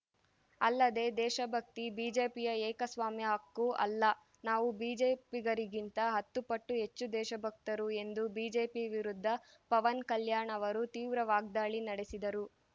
ಅಲ್ಲದೆ ದೇಶಭಕ್ತಿ ಬಿಜೆಪಿಯ ಏಕಸ್ವಾಮ್ಯ ಹಕ್ಕು ಅಲ್ಲ ನಾವು ಬಿಜೆಪಿಗರಿಗಿಂತ ಹತ್ತು ಪಟ್ಟು ಹೆಚ್ಚು ದೇಶಭಕ್ತರು ಎಂದು ಬಿಜೆಪಿ ವಿರುದ್ಧ ಪವನ್‌ ಕಲ್ಯಾಣ್‌ ಅವರು ತೀವ್ರ ವಾಗ್ದಾಳಿ ನಡೆಸಿದರು